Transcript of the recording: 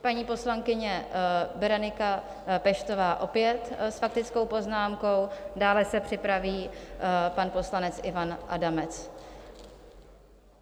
Paní poslankyně Berenika Peštová, opět s faktickou poznámkou, dále se připraví pan poslanec Ivan Adamec.